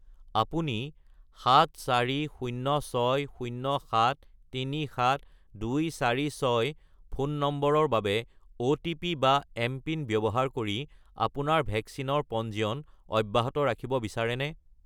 আপুনি 74060737246 ফোন নম্বৰৰ বাবে অ'টিপি বা এমপিন ব্যৱহাৰ কৰি আপোনাৰ ভেকচিনৰ পঞ্জীয়ন অব্যাহত ৰাখিব বিচাৰেনে?